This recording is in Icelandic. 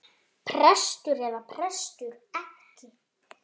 Prestur eða prestur ekki.